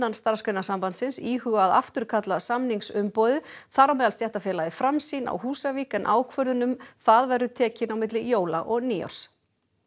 Starfsgreinasambandsins íhuga að afturkalla samningsumboðið þar á meðal stéttarfélagið Framsýn á Húsavík en ákvörðun um það verður tekin á milli jóla og nýárs